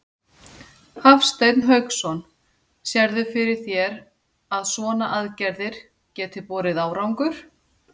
Hafsteinn Hauksson: Sérðu fyrir þér að svona aðgerðir geti borið árangur?